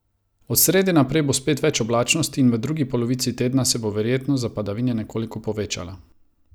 Od srede naprej bo spet več oblačnosti in v drugi polovici tedna se bo verjetnost za padavine nekoliko povečala.